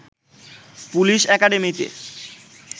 police একাডেমিতে